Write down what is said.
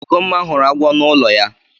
Ugomma hụrụ agwọ na ụlọ ya.